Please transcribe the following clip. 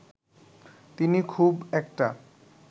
তিনি খুব একটা